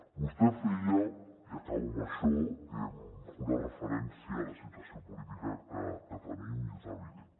vostè feia i acabo amb això una referència a la situació política que tenim i és evident